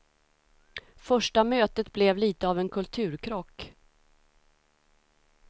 Första mötet blev lite av en kulturkrock.